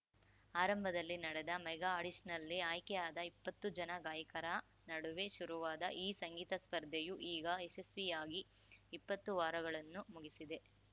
ಆರಂಭದಲ್ಲಿ ನಡೆದ ಮೆಗಾ ಆಡಿಷನ್‌ನಲ್ಲಿ ಆಯ್ಕೆಯಾದ ಇಪ್ಪತ್ತು ಜನ ಗಾಯಕರ ನಡುವೆ ಶುರುವಾದ ಈ ಸಂಗೀತ ಸ್ಪರ್ಧೆಯು ಈಗ ಯಶಸ್ವಿಯಾಗಿ ಇಪ್ಪತ್ತು ವಾರಗಳನ್ನು ಮುಗಿಸಿದೆ